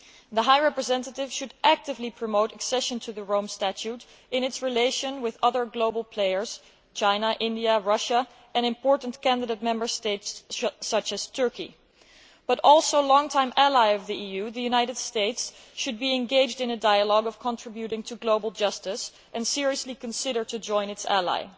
The High Representative should actively promote the accession to the Rome Statute of other global players China, India, Russia and important candidate Member States, such as Turkey but, also, the long term ally of the EU, the United States, should be engaged in a dialogue of contributing to global justice and should seriously consider joining its ally.